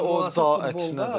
Məncə o daha əksinədir.